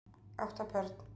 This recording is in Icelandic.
Átta börn